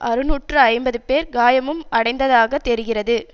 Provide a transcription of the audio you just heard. அறுநூற்று ஐம்பது பேர் காயமும் அடைந்ததாக தெரிகிறது